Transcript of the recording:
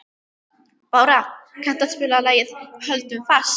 Bára, kanntu að spila lagið „Höldum fast“?